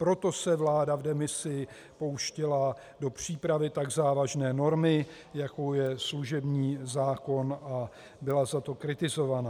Proto se vláda v demisi pouštěla do přípravy tak závažné normy, jakou je služební zákon, a byla za to kritizovaná.